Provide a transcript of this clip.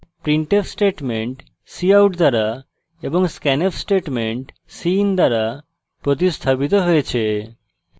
printf statement cout দ্বারা এবং scanf statement cin দ্বারা প্রতিস্থাপিত হয়েছে